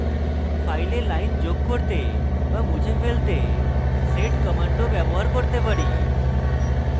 file lines যোগ করতে বা মুছে ফেলতে sed কমান্ড ও ব্যবহার করতে পারি